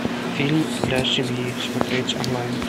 фильм для семьи смотреть онлайн